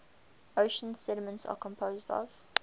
ocean sediments are composed of